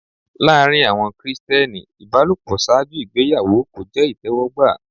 Láàrín àwọn Krìsìtẹ́nì ìbálòpọ̀ ṣáájú ìgbéyàwó kò jẹ́ ìtẹ́wọ́gbà.